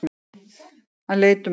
Hann leit um öxl.